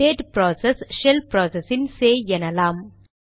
date process shell process இன் சேய் எனலாம்